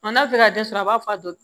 n'a bɛ fɛ ka den sɔrɔ a b'a fɔ a do